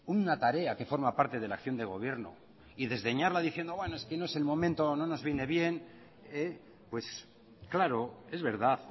una tarea que forma parte de la acción de gobierno y desdeñarla diciendo bueno es que no es el momento o no nos viene bien pues claro es verdad